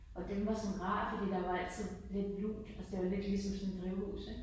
Og den var sådan rar for der var altid lidt lunt altså det var lidt ligesom sådan et drivhus ik